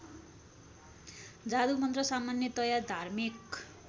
जादुमन्त्र सामान्यतया धार्मिक